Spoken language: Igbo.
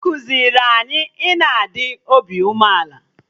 Ekuziri anyị na-adị obi umeala